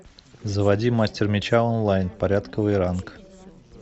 заводи мастер меча онлайн порядковый ранг